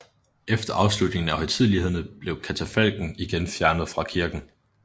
Efter afslutningen af højtidelighederne blev katafalken igen fjernet fra kirken